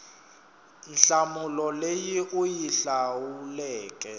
nhlamulo leyi u yi hlawuleke